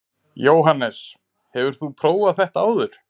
Jóhannes: Hefur þú prófað þetta áður?